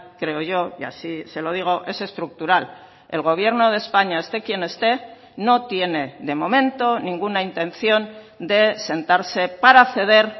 creo yo y así se lo digo es estructural el gobierno de españa esté quien esté no tiene de momento ninguna intención de sentarse para ceder